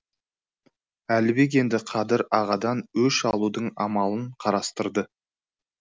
әлібек енді қадыр ағадан өш алудың амалын қарастырды